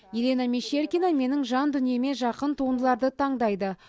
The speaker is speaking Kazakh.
елена мещеркина менің жан дүниеме жақын туындыларды таңдайды